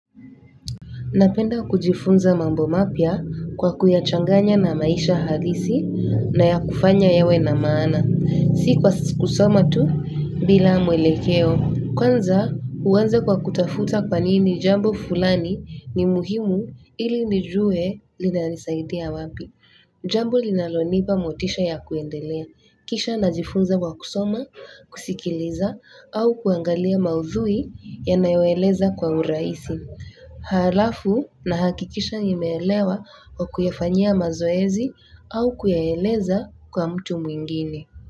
Napenda kujifunza mambo mapya kwa kuyachanganya na maisha halisi na ya kufanya yawe na maana, si kwa kusoma tu bila mwelekeo. Kwanza uanza kwa kutafuta kwa nini jambo fulani ni muhimu ili nijue linanisaidia wapi. Jambo linalonipa motisha ya kuendelea kisha najifunza kwa kusoma, kusikiliza au kuangalia maudhui yanayoeleza kwa urahisi alafu nahakikisha nimeelewa kwa kuyafanyia mazoezi au kuyaeleza kwa mtu mwingine.